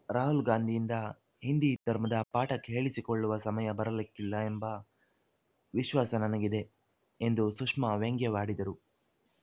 ರಾಹುಲ್‌ ಗಾಂಧಿಯಿಂದ ಹಿಂದಿ ಧರ್ಮದ ಪಾಠ ಹೇಳಿಸಿಕೊಳ್ಳುವ ಸಮಯ ಬರಲಿಕ್ಕಿಲ್ಲ ಎಂಬ ವಿಶ್ವಾಸ ನನಗಿದೆ ಎಂದು ಸುಷ್ಮಾ ವ್ಯಂಗ್ಯವಾಡಿದರು